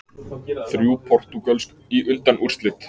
Þrjú portúgölsk í undanúrslit